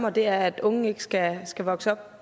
og det er at unge ikke skal skal vokse op